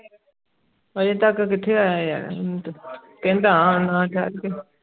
ਅਜੇ ਤਕ ਕਿਥੇ ਆਯਾ ਯਾਰ ਕੈਨਡਾ ਹੈ ਆਉਂਦਾ ਆ ਠਹਿਰ ਕੇ